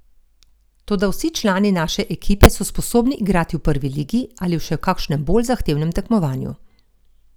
Toda vsi člani naše ekipe so sposobni igrati v prvi ligi ali v še kakšnem bolj zahtevnem tekmovanju.